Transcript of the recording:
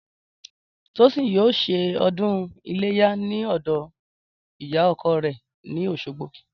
Tósìn yóò se o̩dún iléyá ní ò̩dò̩ ìyá o̩ko̩ rè̩ ní Òs̩ogbo